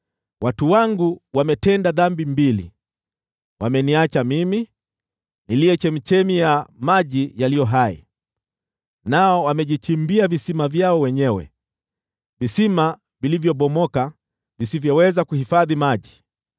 “Watu wangu wametenda dhambi mbili: Wameniacha mimi, niliye chemchemi ya maji yaliyo hai, nao wamejichimbia visima vyao wenyewe, visima vilivyobomoka, visivyoweza kuhifadhi maji.